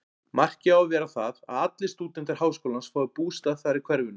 Markið á að vera það, að allir stúdentar háskólans fái bústað þar í hverfinu.